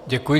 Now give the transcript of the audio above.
Děkuji.